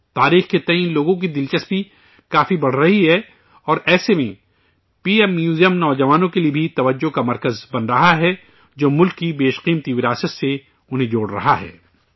تاریخ کو لے کر لوگوں کی دلچسپی کافی بڑھ رہی ہے اور ایسے میں پی ایم میوزیم نوجوانوں کے لیے بھی توجہ کا مرکز بن رہا ہے، جو ملک کی انمول وراثت سے انہیں جوڑ رہا ہے